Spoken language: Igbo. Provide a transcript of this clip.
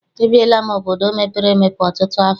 Ebiela m obodo mepere emepe ọtụtụ afọ.